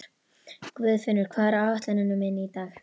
Guðfinnur, hvað er á áætluninni minni í dag?